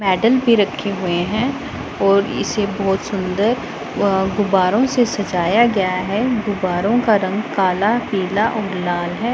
Medal भी रखे हुए हैं और इसे बहोत सुंदर वह गुब्बारे से सजाया गया है गुब्बारों का रंग काला पीला अ लाल है।